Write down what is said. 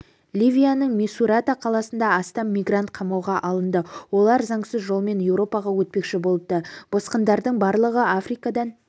ливияның мисурата қаласында астам мигрант қамауға алынды олар заңсыз жолмен еуропаға өтпекші болыпты босқындардың барлығы африкадан